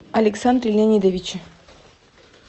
александре леонидовиче